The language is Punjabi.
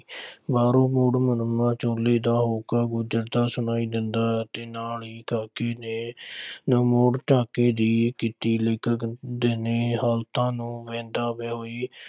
ਬਾਹਰੋਂ ਛੋਲੇ ਦਾ ਹੋਕਾ ਗੂੰਝਦਾ ਸੁਣਾਈ ਦਿੰਦਾ ਹੈ ਤੇ ਨਾਲ ਹੀ ਕਾਕੇ ਨੇ ਦੀ ਕੀਤੀ ਲੇਖਕ ਦਿਨੇ ਹਾਲਤਾਂ ਨੂੰ